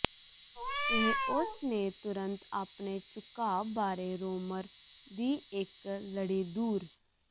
ਇਹ ਉਸ ਨੇ ਤੁਰੰਤ ਆਪਣੇ ਝੁਕਾਅ ਬਾਰੇ ਰੋਮਰ ਦੀ ਇੱਕ ਲੜੀ ਦੂਰ